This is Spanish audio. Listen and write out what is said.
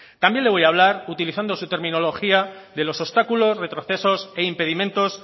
también le voy hablar utilizando su terminología de los obstáculos retrocesos e impedimentos